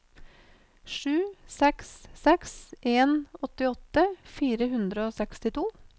sju seks seks en åttiåtte fire hundre og sekstito